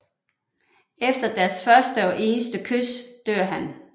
Efter deres første og eneste kys dør han